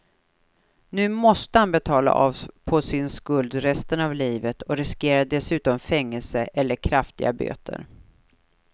Nu måste han betala av på sin skuld resten av livet och riskerar dessutom fängelse eller kraftiga böter.